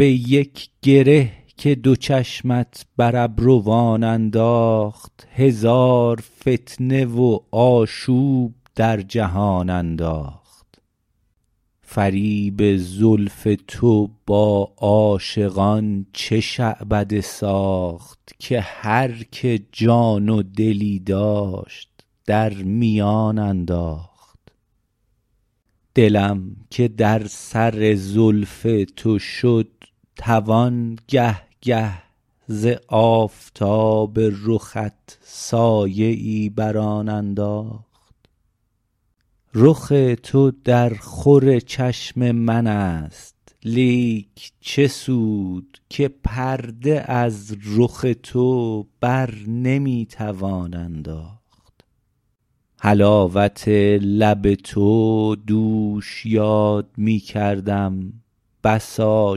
به یک گره که دو چشمت بر ابروان انداخت هزار فتنه و آشوب در جهان انداخت فریب زلف تو با عاشقان چه شعبده ساخت که هر که جان و دلی داشت در میان انداخت دلم که در سر زلف تو شد توان گه گه ز آفتاب رخت سایه ای بر آن انداخت رخ تو در خور چشم من است لیک چه سود که پرده از رخ تو برنمی توان انداخت حلاوت لب تو دوش یاد می کردم بسا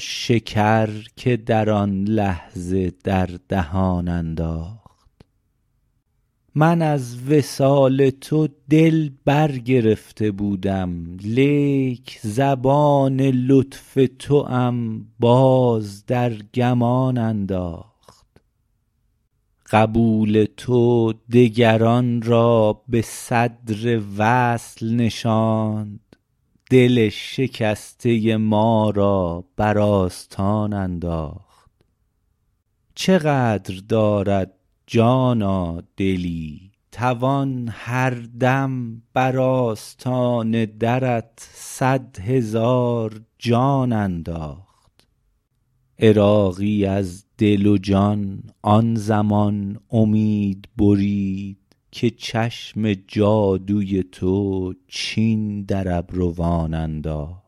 شکر که در آن لحظه در دهان انداخت من از وصال تو دل برگرفته بودم لیک زبان لطف توام باز در گمان انداخت قبول تو دگران را به صدر وصل نشاند دل شکسته ما را بر آستان انداخت چه قدر دارد جانا دلی توان هردم بر آستان درت صدهزار جان انداخت عراقی از دل و جان آن زمان امید برید که چشم جادوی تو چین در ابروان انداخت